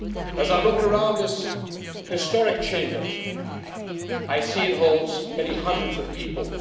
As I look around this historic Chamber, I see it holds many hundreds of people.